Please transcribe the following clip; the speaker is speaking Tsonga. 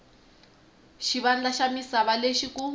xivandla xa misava lexi ku